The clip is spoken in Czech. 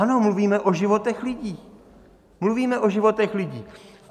Ano, mluvíme o životech lidí, mluvíme o životech lidí.